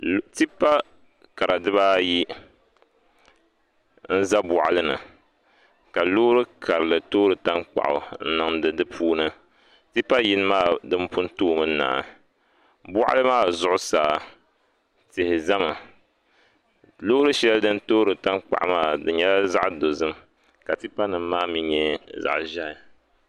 Tipa kara diba ayi n-za bɔɣili ni ka loori karili toori tankpaɣu n-niŋdi di puuni tipa yini maa din pun toomi n-naa bɔɣili maa zuɣusaa tihi zami loori shɛli din toori tankpaɣu maa nyɛla zaɣ' dɔzim ka tipanima maa nyɛ zaɣ' ʒɛhi